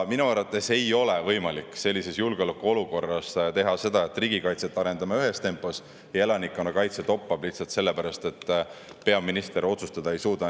Minu arvates ei ole sellises julgeolekuolukorras võimalik, et me riigikaitset arendame ühes tempos ja elanikkonnakaitse toppab lihtsalt sellepärast, et peaminister ei suuda otsustada.